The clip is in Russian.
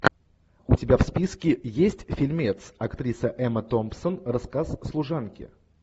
у тебя в списке есть фильмец актриса эмма томпсон рассказ служанки